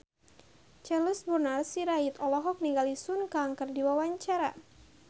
Charles Bonar Sirait olohok ningali Sun Kang keur diwawancara